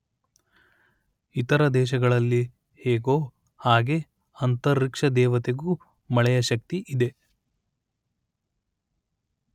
ಇತರ ದೇಶಗಳಲ್ಲಿ ಹೇಗೋ ಹಾಗೆ ಅಂತರಿಕ್ಷ ದೇವತೆಗೂ ಮಳೆಯ ಶಕ್ತಿ ಇದೆ